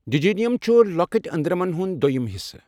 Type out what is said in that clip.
Jejunum چھُ لۄکٕٹؠ أندرَمن ہُنٛد دۆیِم حِصہٕ.